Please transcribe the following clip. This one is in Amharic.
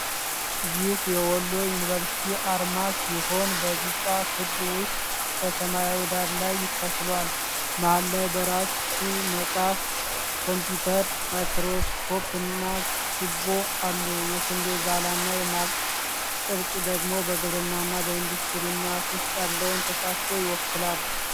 ይህ የወሎ ዩኒቨርሲቲ አርማ ሲሆን፣ በቢጫ ክብ ውስጥ በሰማያዊ ዳራ ላይ ተስሏል። መሃል ላይ በራሱ መጽሐፍ፣ ኮምፒዩተር፣ ማይክሮስኮፕና ችቦ አሉ። የስንዴ ዛላና የማርሽ ቅርጽ ደግሞ በግብርናና በኢንዱስትሪ ልማት ውስጥ ያለውን ተሳትፎ ይወክላል።